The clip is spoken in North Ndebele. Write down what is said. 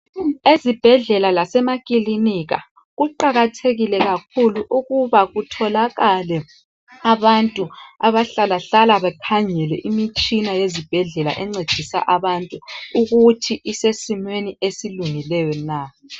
Ezibhedlela lasemakilinika kuqakathekile kakhulu ukuba kutholakale abantu abahlalahlale bekhangele imitshina yezibhedlela encedisa abantu ukuthi isesimweni esilungileyo na.